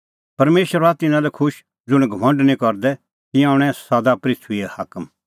परमेशर हआ तिन्नां लै खुश ज़ुंण घमंड निं करदै तिंयां हणैं एसा पृथूईए हाकम